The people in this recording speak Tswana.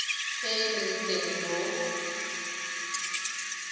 e e leng teng mo